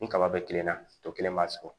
Ni kaba be kelenna to kelen b'a sɔrɔ